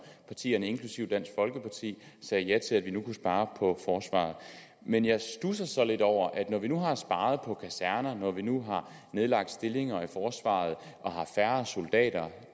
partierne inklusive dansk folkeparti sagde ja til at vi nu kunne spare på forsvaret men jeg studser så lidt over at når vi nu har sparet på kasernerne når vi nu har nedlagt stillinger i forsvaret og har færre soldater